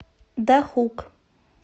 дахук